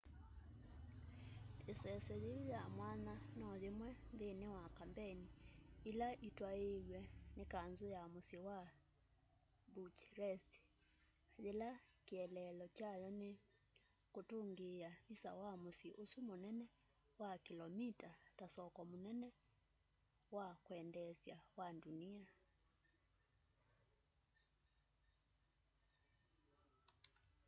iseso yiu ya mwanya no yimwe nthini wa kambeini ila itwaiiw'e ni kanzu ya musyi wa bucharest yila kieleelo kyayo ni kutungia visa wa musyi usu munene wa kilomi ta soko munene na wa kwendeesya wa ndunia